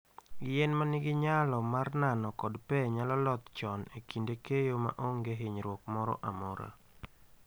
Yien ma nigi nyalo mar nano kod pe nyalo loth chon e kinde keyo ma onge hinyruok moro amora.